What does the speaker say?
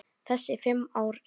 Þessi fimm ár eru